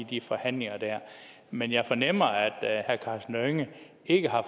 de forhandlinger men jeg fornemmer at herre karsten hønge ikke har